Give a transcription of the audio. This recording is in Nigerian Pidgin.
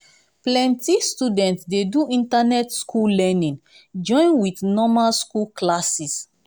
plenti student dey do internet school learning join with normal school classes.